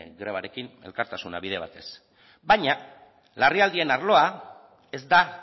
grebarekin elkartasuna bide batez baina larrialdien arloa ez da